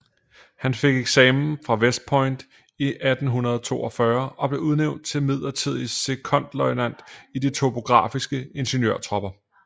Han fik eksamen fra West Point i 1842 og blev udnævnt til midlertidig sekondløjtnant i de topografiske ingeniørtropper